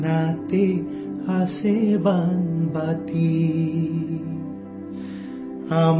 झोले में थी प्यारी सी कटोरी